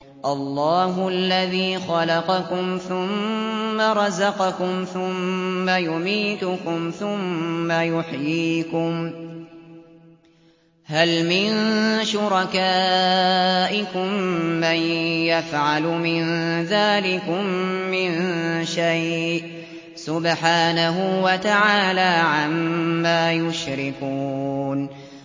اللَّهُ الَّذِي خَلَقَكُمْ ثُمَّ رَزَقَكُمْ ثُمَّ يُمِيتُكُمْ ثُمَّ يُحْيِيكُمْ ۖ هَلْ مِن شُرَكَائِكُم مَّن يَفْعَلُ مِن ذَٰلِكُم مِّن شَيْءٍ ۚ سُبْحَانَهُ وَتَعَالَىٰ عَمَّا يُشْرِكُونَ